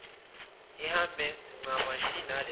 ihambelane ncamashi naleyo